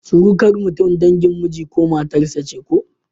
Surukar mutum dangin miji ko matar sa ce ko?